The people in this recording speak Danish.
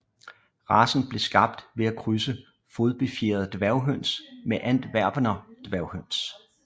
Racen blev skabt ved at krydse fodbefjerede dværghøns med Antwerpener Skæghøns